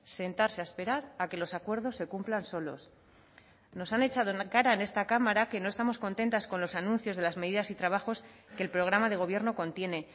sentarse a esperar a que los acuerdos se cumplan solos nos han echado en la cara en esta cámara que no estamos contentas con los anuncios de las medidas y trabajos que el programa de gobierno contiene